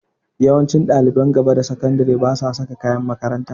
Yawancin ɗaliban gaba da sakandire basa saka kayan makaranta.